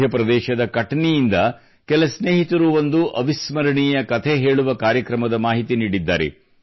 ಮಧ್ಯಪ್ರದೇಶದ ಕಟನಿಯಿಂದ ಕೆಲ ಸ್ನೇಹಿತರು ಒಂದು ಅವಿಸ್ಮರಣೀಯ ಕಥೆ ಹೇಳುವ ಕಾರ್ಯಕ್ರಮದ ಮಾಹಿತಿ ನೀಡಿದ್ದಾರೆ